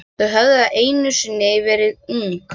Þau höfðu einu sinni verið ung.